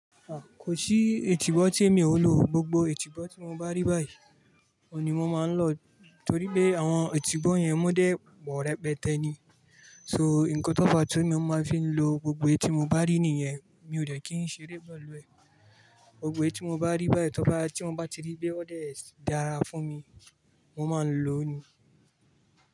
Ah, kò sí ìtìbọ́ tí èmi ò lọ. Gbogbo ìtìbọ́ tí mo bá rí báyìí, òun ni mo máa ń lọ torí pé àwọn ìtìbọ́ yẹn wọ́n dé pọ̀ rẹpẹtẹ ni so, nǹkan tóba máa ń tún fi ń lo gbogbo èyii tí mo bá rí nìyẹn, mi ò dẹ̀ kí ń ṣeré pẹ̀lú ẹ. Gbogbo èyii tí mo bá rí báyìí, tó bá, tí mo bá ti rí pé ó dé dára fún mi, mo máa ń lò ó ni.